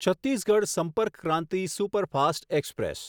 Chhattisgarh Sampark Kranti superfast express